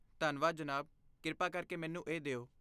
ਧੰਨਵਾਦ, ਜਨਾਬ, ਕਿਰਪਾ ਕਰਕੇ ਮੈਨੂੰ ਇਹ ਦਿਓ।